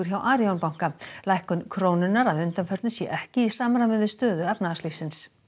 hjá Arion banka lækkun krónunnar að undanförnu sé ekki í samræmi við stöðu í efnahagslífinu